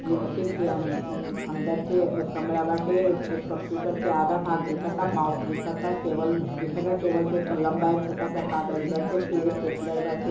ई ऑफिस के अन अंदर के कमरा बाटे। ए एक कंप्युटर के आधा भाग दिखता माउस दीखता टेबल दीखता टेबल पे कलम बाटे एक छोटा सा कागज बाटे फिर स्टैप्लर बाटे|